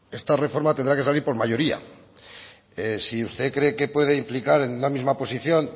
esta reforma tendrá que salir por mayoría si usted cree que puede implicar en una misma posición